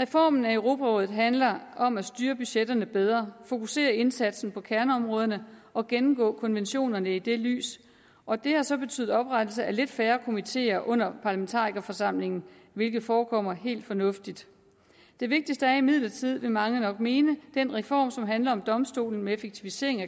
reformen af europarådet handler om at styre budgetterne bedre fokusere indsatsen på kerneområderne og gennemgå konventionerne i det lys og det har så betydet oprettelse af lidt færre komiteer under parlamentarikerforsamlingen hvilket forekommer helt fornuftigt det vigtigste er imidlertid vil mange nok mene den reform som handler om domstolen med effektivisering af